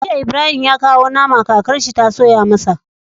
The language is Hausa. Jiya Ibrahim ya kawo nama kakar shi ta soya masa